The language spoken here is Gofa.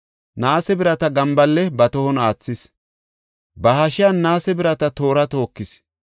Naase birata gambaale ba tohon aathis; ba hashiyan naase birata toora tookis.